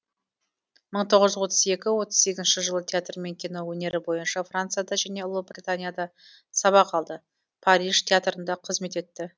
мың тоғыз жүз отыз екі отыз сегізінші жылы театр мен кино өнері бойынша францияда және ұлыбританияда сабақ алды париж театрында қызмет етті